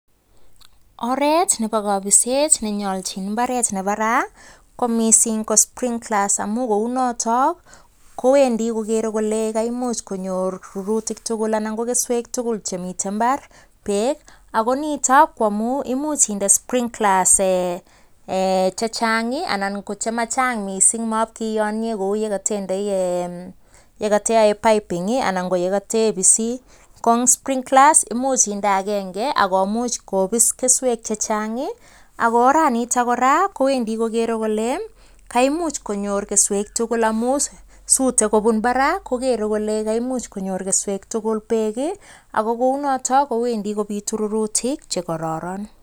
Oret nebo kapiset nenyolchin imbaaret nebo ra komising ko sprinklers amun kounoto kowendi kogeere kole kaimuch konyor rurutik tugul anan ko keswek tugul chemiten imbaar beek ak nitok komuch indee sprinklers chechang anan chemachang mising matiyonie kouye katendei ee yekateyoe piping anan ye katepisi, ko eng sprinklers ko much indee agenge ako much kopis keswek chechang ako oranitok kora kowendi kogeere kole kaimuch konyor keswek tugul amun sutei kobun barak kogeere kole kaimuch konyor keswek tugul beek ako kounotok kowendi kopitu rurutik che koroeron.